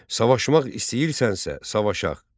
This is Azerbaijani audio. Savaşmaq istəyirsənsə, savaşıaq.